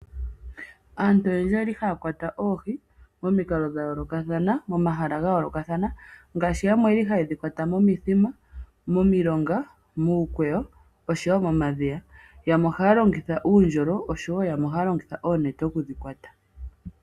Aantu oyendji ohaya kwata oohi pomahala ga yoolokathana taya longitha omikalo dhayoolokathana, yamwe ohaya kwata momithima, momilonga, miikweyo oshowo momadhiya. Yamwe ohaya longitha uundjolo yamwe oonete.